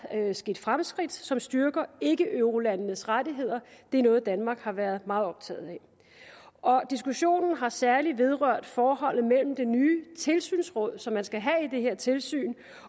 sket fremskridt som styrker ikkeeurolandenes rettigheder og det er noget danmark har været meget optaget af diskussionen har særligt vedrørt forholdet mellem det nye tilsynsråd som man skal have i det her tilsyn